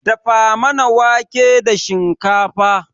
Dafa mana wanke da shikafa